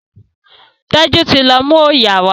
Teju tí lọ mú oyà wa.